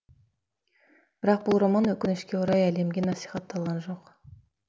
бірақ бұл роман өкінішке қарай әлемге насихатталған жоқ